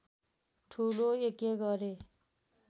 ठूलो यज्ञ गरे